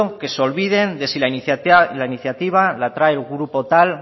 que se olviden de si la iniciativa la trae el grupo tal